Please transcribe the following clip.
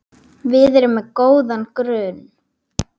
Við erum með góðan grunn.